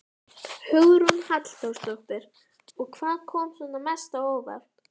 Hugrún Halldórsdóttir: Og hvað kom svona mest á óvart?